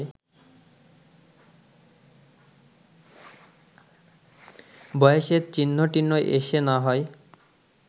বয়সের চিহ্নটিহ্ন এসে না হয়